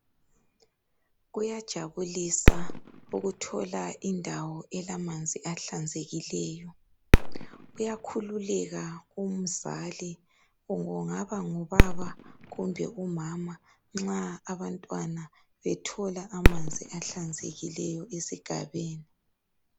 Kuyajabulisa ukuthola indawo elamanzi ahlanzekileyo. Uyakhululeka umzali, kungaba ngubaba kumbe umama nxa abantwana bethola amanzi ahlanzekileyo esigabeni.